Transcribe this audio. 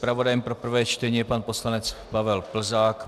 Zpravodajem pro prvé čtení je pan poslanec Pavel Plzák.